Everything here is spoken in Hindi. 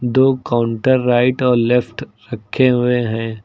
दो काउंटर राइट और लेफ्ट रखे हुए हैं।